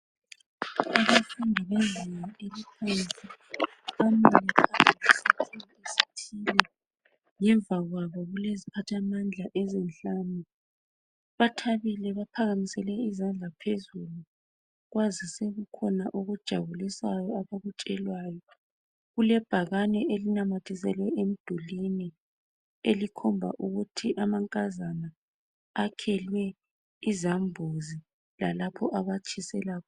Ngemva kwabo kuleziphathamandla ezinhlanu bathabile baphakamisele izandla phezulu kwazise kukhona okujabulisayo abakutshelwayo. Kulebhakane elinamathiselwe emdulini elikhomba ukuthi amankazana akhelwe izambuzi lalapho abatshisela khona.